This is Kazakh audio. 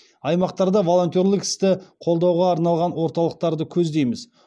аймақтарда волонтерлік істі қолдауға арналған орталықтарды көздейміз